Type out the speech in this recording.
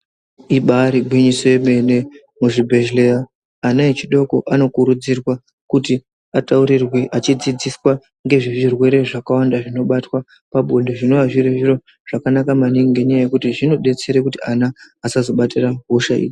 Ibari gwinyiso yemene muzvibhedhleya ana echidoko anokurudzirwa kuti ataurirwe achidzidziswa ngezvezvirwere zvakawanda zvinobatwa pabonde zvinova zviri zviro zvakanaka maningi ngenyaya yekuti zvinodetsera kuti ana asazobatira hosha iyi.